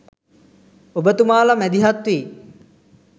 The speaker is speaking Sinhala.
ඔබ තුමාල මැදිහත්වී